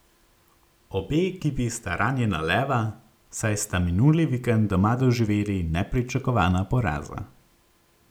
Obe ekipi sta ranjena leva, saj sta minuli vikend doma doživeli nepričakovana poraza.